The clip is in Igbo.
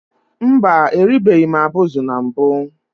Mba, eribeghị m abụzụ na mbụ